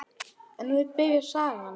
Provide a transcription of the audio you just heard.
En nú byrjar sagan.